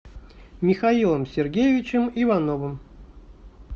михаилом сергеевичем ивановым